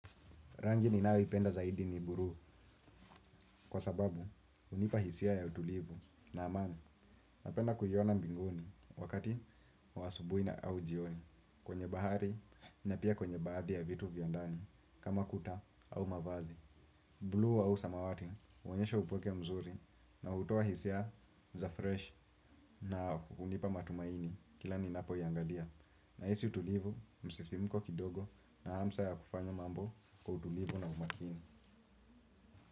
Rangi ninayoipenda zaidi ni buruu kwa sababu hunipa hisia ya utulivu na amani napenda kuiona mbinguni wakati wa asubui na au jioni. Kwenye bahari na pia kwenye baadhi ya vitu vya ndani kama kuta au mavazi Blue au samawati huonyesha upweke mzuri na hutoa hisia za fresh na hunipa matumaini kila ninapoiangalia. Nahisi utulivu msisimko kidogo na hamsa ya kufanya mambo kwa utulivu na umakini.